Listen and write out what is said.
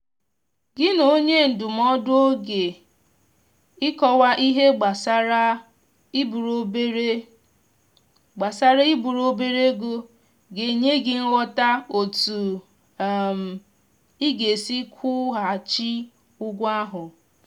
gị na onye ndụmọdụ oge ịkọwa ihe gbasara iburu obere gbasara iburu obere ego ga enye gị nghọta otu um ị ga-esi kwụ ghaghị ụgwọ ahụ.